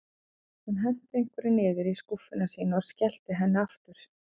Hún henti einhverju niður í skúffuna sína og skellti henni aftur.